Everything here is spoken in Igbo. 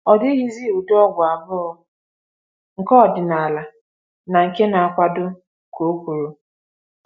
Ọ dịghịzi ụdị ọgwụ abụọ, nke ọdịnala na nke na-akwado,” ka o kwuru.